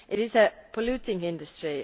It is a polluting industry.